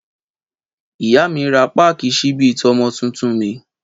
Ìyá mi rà pàkí ṣíbì tọmọ títùn mi.